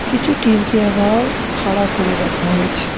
কিছু টিনকে আবার খাঁড়া করে রাখা হয়েছে।